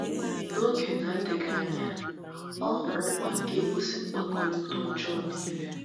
N’oge na - adịghị anya, ọ hụrụ mkpa nke ịkwụsị mkpakọrịta ọjọọ nile.